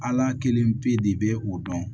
Ala kelen pe de bɛ o dɔn